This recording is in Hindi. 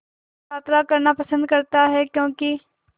यात्रा करना पसंद करता है क्यों कि